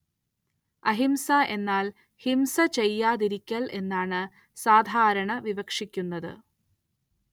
അഹിംസ എന്നാൽ ഹിംസ ചെയ്യാതിരിക്കൽ എന്നാണ് സാധാരണ വിവക്ഷിക്കുന്നത്.